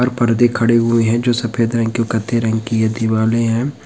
और पर्दे खड़े हुए हैं जो सफेद रंग की और कत्थई रंग की है दीवारे हैं।